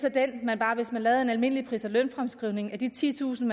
hvis man lavede en almindelig pris og lønfremskrivning af de titusind